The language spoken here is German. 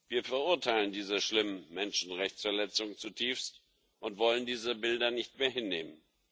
Wir verurteilen diese schlimme Menschenrechtsverletzungen zutiefst und wollen diese Bilder nicht mehr hinnehmen.